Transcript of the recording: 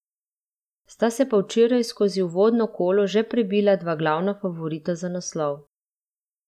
Sta se pa včeraj skozi uvodno kolo že prebila dva glavna favorita za naslov.